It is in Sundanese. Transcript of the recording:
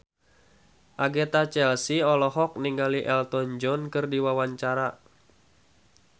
Agatha Chelsea olohok ningali Elton John keur diwawancara